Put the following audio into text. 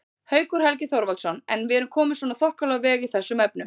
Haukur Helgi Þorvaldsson: En erum við komin svona þokkalega á veg í þessum efnum?